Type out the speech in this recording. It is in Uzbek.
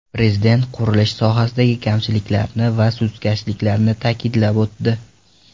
Prezident qurilish sohasidagi kamchiliklarni va sustkashliklarni ta’kidlab o‘tdi.